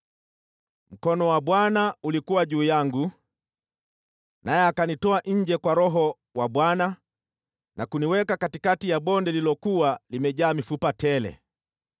Mkono wa Bwana ulikuwa juu yangu, naye akanitoa nje kwa Roho wa Bwana na kuniweka katikati ya bonde lililokuwa limejaa mifupa tele.